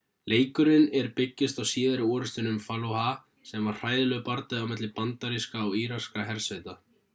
leikurinn er byggist á síðari orrustunni um fallujah sem var hræðilegur bardagi á milli bandarískra og íraskra hersveita